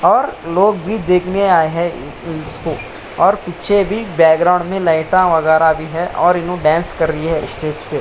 और लोग भी देखने आये हैं | इ इ इसको और पीछे भी बैकग्राउंड में लाइटा वगेरा भी है और इनु डांस कर रही है स्टेज पे ।